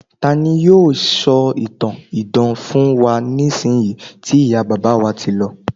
tani yíò sọ ìtàn idán fún wa nisinyi ti iya baba wa ti lọ